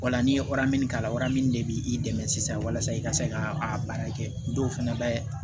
Wala ni ye wara min k'a la o de bɛ i dɛmɛ sisan walasa i ka se ka a baara kɛ dɔw fɛnɛ bɛ